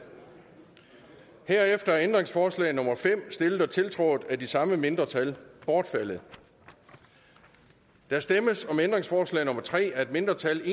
herefter er ændringsforslag nummer fem stillet og tiltrådt af de samme mindretal bortfaldet der stemmes om ændringsforslag nummer tre af et mindretal